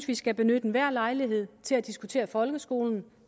vi skal benytte enhver lejlighed til at diskutere folkeskolen